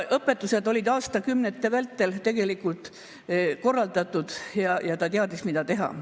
Õpetusi oli aastakümnete vältel korratud ja ta teadis, mida teha.